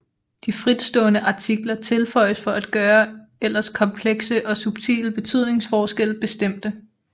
De fritstående artikler tilføjes for at gøre ellers komplekse og subtile betydningsforskelle bestemte